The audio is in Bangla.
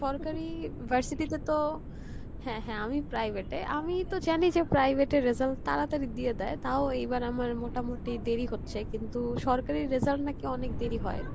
সরকারি ভার্সিটি তে তো, হ্যাঁ হ্যাঁ আমি private এ আমি তো জানি যে private এর result তাড়াতাড়ি দিয়ে দেই তাও এইবার আমার মোটামোটি দেরি হচ্ছে কিন্তু সরকারির result নাকি অনেক দেরি হয়।